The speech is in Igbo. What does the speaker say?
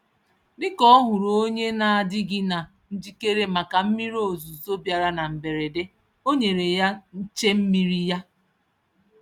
Dịka ọhụrụ onye n'adịghị na njikere màkà mmiri ozuzo bịara na mberede, o nyere ya nche-mmiri ya.